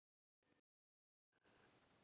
Við stóðum saman.